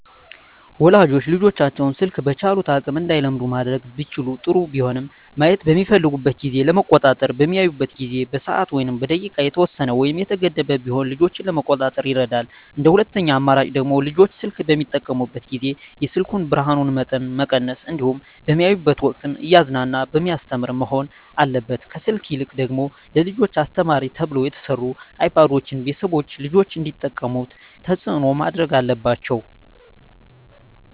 ወላጆች ልጆቻቸውን ስልክ በቻሉት አቅም እንዳይለምዱ ማድረግ ቢችሉ ጥሩ ቢሆንም ማየት በሚፈልጉበት ጊዜ ለመቆጣጠር በሚያዩበት ጊዜ በሰዓት ወይም በደቂቃ የተወሰነ ወይም የተገደበ ቢሆን ልጆችን ለመቆጣጠር ይረዳል እንደ ሁለተኛ አማራጭ ደግሞ ልጆች ስልክ በሚጠቀሙበት ጊዜ የስልኩን የብርሀኑን መጠን መቀነስ እንዲሁም በሚያዩበት ወቅትም እያዝናና በሚያስተምር መሆን አለበት ከስልክ ይልቅ ደግሞ ለልጆች አስተማሪ ተብለው የተሰሩ አይፓዶችን ቤተሰቦች ልጆች እንዲጠቀሙት ተፅዕኖ ማድረግ አለባቸው።